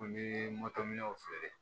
An bɛ feere